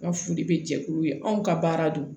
Ka foli bɛ jɛkulu ye anw ka baara don